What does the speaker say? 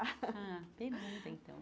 Ah, pergunte então.